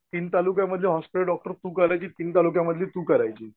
तीन तालुक्यामधली hospital doctor तू करायची तीन तालुक्यामध्ये तू करायची.